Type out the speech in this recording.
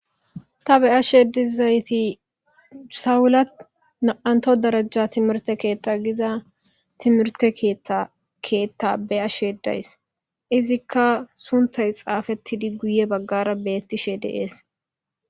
Ta beyasheedi zayti sawulat naanto darajja timirte keetta giza timirte keakeetta be'ashedays izikka suntay xaafettidi guye baggara beettishe deees.